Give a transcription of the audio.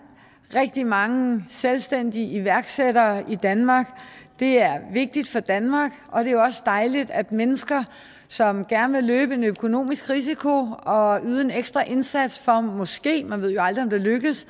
rigtig mange selvstændige iværksættere i danmark det er vigtigt for danmark og det er også dejligt at mennesker som gerne vil løbe en økonomisk risiko og yde en ekstra indsats for måske man ved jo aldrig om det